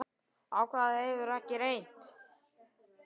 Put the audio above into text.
Á hvað hefur ekki reynt?